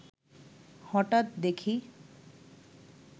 হঠাৎ দেখি